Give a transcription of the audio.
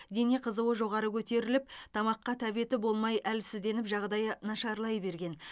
дене қызуы жоғары көтеріліп тамаққа тәбеті болмай әлсізденіп жағдайы нашарлай берген